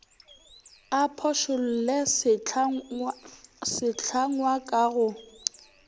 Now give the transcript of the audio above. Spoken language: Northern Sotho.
a phošolle sehlangwa ka go